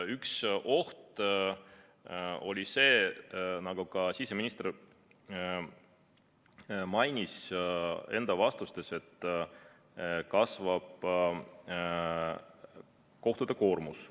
Üks oht on see, nagu ka siseminister mainis enda vastustes, et kasvab kohtute koormus.